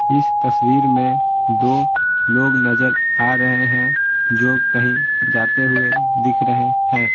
इस तस्वीर में दो लोग नजर आ रहे हैं जो कहीं जाते हुए दिख रहे है।